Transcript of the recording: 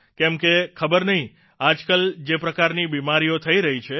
કેમ કે ખબર નહિં આજકાલ જે પ્રકારની બીમારીઓ થઇ રહી છે